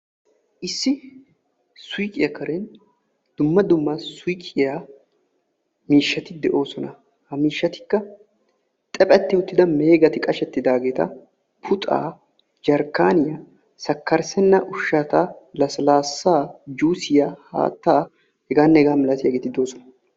Issi suyqiya karen dumma dumma suyqiya miishshati de'oosona; ha miishshatikka xaphetti uttida meegay qashetti uttidageeta, puxxa, jarkkaaniya, sakkarssenna ushshata: lasilaassaa, juusiya haattaa hegaanne hegaa malatiyaageeti doosona.